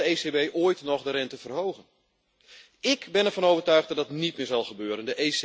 Zal de ECB ooit nog de rente verhogen? Ik ben ervan overtuigd dat dat niet meer zal gebeuren.